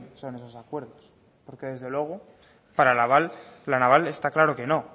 son esos acuerdos porque desde luego para la naval está claro que no